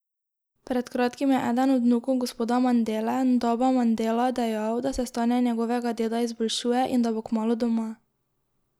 Pred kratkim je eden od vnukov gospoda Mandele, Ndaba Mandela, dejal, da se stanje njegovega deda izboljšuje in da bo kmalu doma.